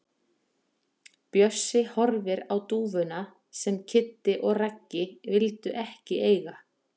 Bjössi horfir á dúfuna sem Kiddi og Raggi vildu ekki eiga.